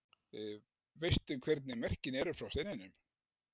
Veistu hvernig merkin eru frá steininum?